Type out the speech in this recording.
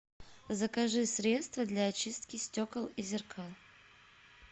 закажи средство для очистки стекол и зеркал